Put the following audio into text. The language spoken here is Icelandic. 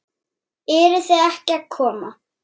Eruð þið ekki að koma?